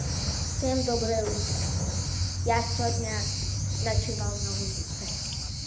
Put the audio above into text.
всем доброе утро я сегодня ночевал на улице